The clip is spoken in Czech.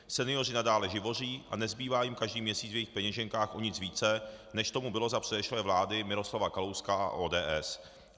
Senioři nadále živoří a nezbývá jim každý měsíc v jejich peněženkách o nic více, než tomu bylo za předešlé vlády Miroslava Kalouska a ODS.